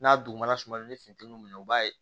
N'a dugumana sumalen ni funteni u b'a ye